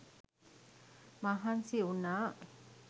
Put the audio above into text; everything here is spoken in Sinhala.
මහන්සි වුනා.